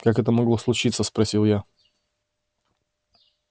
как это могло случиться спросил я